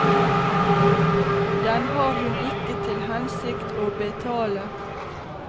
Den har hun ikke til hensikt å betale.